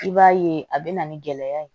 I b'a ye a bɛ na ni gɛlɛya ye